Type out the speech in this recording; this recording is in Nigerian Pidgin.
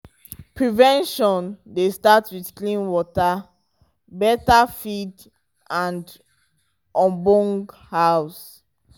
prevention dey start with clean water beta feed and obonge house.